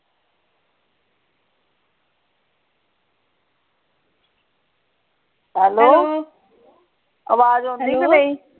Hello ਆਵਾਜ਼ ਆਉਂਦੀ ਕੇ ਨਹੀਂ।